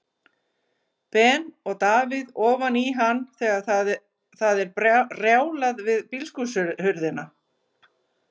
Ben og Davíð ofan í hann þegar það er rjálað við bílskúrshurðina.